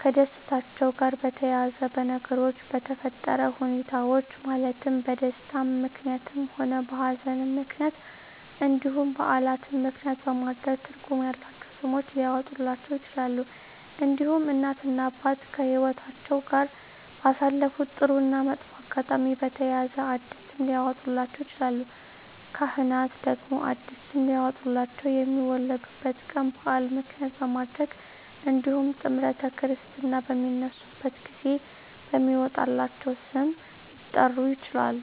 ከደስታቸው ጋር በተያያዘ በነገሮች በተፈጠረ ሁኔታዎች ማለትም በደስታም ምክንያትም ሆነ በሀዘንም ምክንያት እንዲሁም በዓላትን ምክንያትም በማድረግ ትርጉም ያላቸው ስሞች ሊያወጡላቸው ይችላሉ። እንዲሁም እናት እና አባት ከህይወትአቸው ጋር ባሳለፉት ጥሩ እና መጥፎ አጋጣሚ በተያያዘ አዲስ ስም ሊያወጡላቸው ይችላሉ። ካህናት ደግሞ አዲስ ስም ሊያወጡላቸው የሚወለዱበት ቀን በዓል ምክንያት በማድረግ እንዲሁም ጥምረተ ክርስትና በሚነሱበት ጊዜ በሚወጣላቸው ስም ሊጠሩ ይችላሉ።